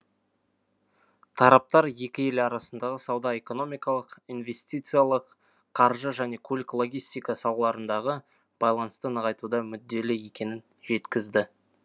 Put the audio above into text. тараптар екі ел арасындағы сауда экономикалық инвестициялық қаржы және көлік логистика салаларындағы байланысты нығайтуға мүдделі екенін жеткізді